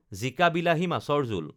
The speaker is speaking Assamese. জিকা বিলাহী মাছৰ জোল